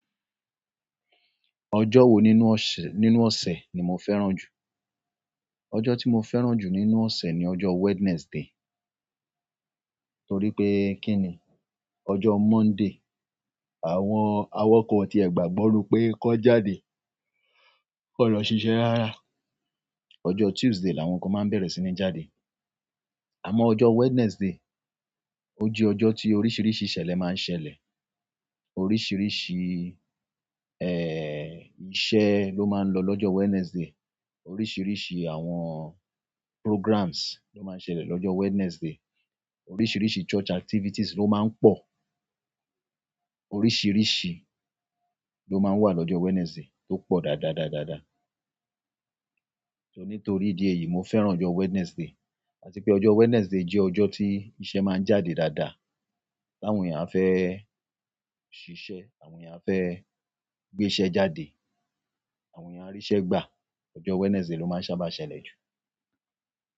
Ọjọ́ wo nínú ọṣẹ, nínú ọ̀sẹ̀ ni mo fẹ́ràn jù? Ọjọ́ tí mo fẹ́ràn jù nínú ọ̀sẹ̀ ni ọjọ́ Wednesday, torí pé kí ni? Ọjọ́ Monday, àwọn awakọ̀ tí ẹ gbàgbọ́ nu pé kó jáde kó lọ ṣiṣẹ́ rárá. Ọjọ́ Tuesday làwọn kan máa ń bẹ̀rẹ̀ sí ní jáde. Àmọ́ ọjọ́ Wednesday, ó jẹ́ ọjọ́ tí oríṣiríṣi ìṣẹ̀lẹ̀ máa ń ṣẹlẹ̀. Oríṣiríṣi, eh, iṣẹ́ ló máa ń lọ lọ́jọ́ Wednesday. Oríṣiríṣi àwọn programs ló máa ń ṣẹlẹ̀ lọ́jọ́ Wednesday. Oríṣiríṣi church activities ló máa ń pọ̀. Oríṣiríṣi lo maa n wa lọ́jọ́ wednesday to po dáadáa dáadáa. Nítorí ìdí èyí, mo fẹ́ràn ọjọ́ Wednesday, àti pé ọjọ́ Wednesday jẹ́ ọjọ́ tí iṣẹ́ máa ń jáde dáadáa. Láwọn èèyàn fẹ́ ṣiṣẹ́, àwọn èèyàn fẹ́ gbé iṣẹ́ jáde, àwọn èèyàn aríṣẹ́ gbà. Ọjọ́ Wednesday ló máa ń sábà ṣẹlẹ̀ jù.